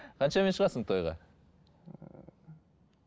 қаншамен шығасың тойға ыыы